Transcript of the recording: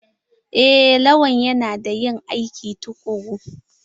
Eh lawal yana da ƴin aiki tukuru.